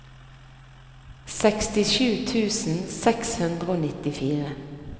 sekstisju tusen seks hundre og nittifire